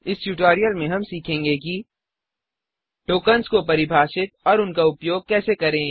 इस ट्यूटोरियल में हम सीखेंगे कि टॉकन्स को परिभाषित और उनका उपयोग कैसे करें